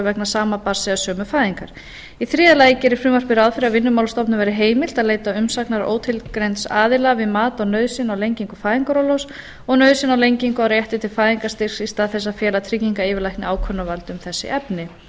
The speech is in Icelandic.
vegna barnsfæðingar þriðja frumvarpið gerir ráð fyrir að vinnumálastofnun verði heimilt að leita umsagnar ótilgreinds aðila við mat á nauðsyn á lengingu fæðingarorlofs og nauðsyn á lengingu og rétti til fæðingarstyrks í stað þess að fela tryggingayfirlækni ákvörðunarvald um þessi efni